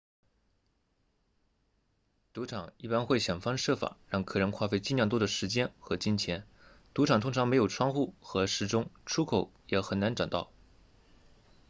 赌场一般会想方设法让客人花费尽量多的时间和金钱赌场通常没有窗户和时钟出口也很难找到